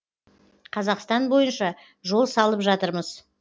қазақстан бойынша жол салып жатырмыз